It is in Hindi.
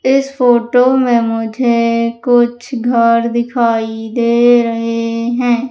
इस फोटो में मुझे कुछ घर दिखाई दे रहे हैं।